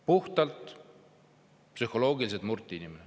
Puhtalt psühholoogiliselt murti inimene.